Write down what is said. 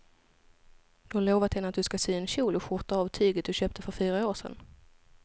Du har lovat henne att du ska sy en kjol och skjorta av tyget du köpte för fyra år sedan.